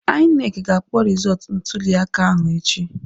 INEC ga-akpọ rịzọtụ ntulịaka ahụ echi